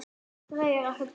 Dregur ekkert undan.